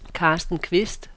Carsten Kvist